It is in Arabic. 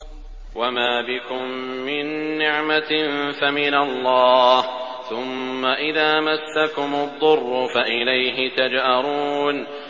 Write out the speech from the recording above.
وَمَا بِكُم مِّن نِّعْمَةٍ فَمِنَ اللَّهِ ۖ ثُمَّ إِذَا مَسَّكُمُ الضُّرُّ فَإِلَيْهِ تَجْأَرُونَ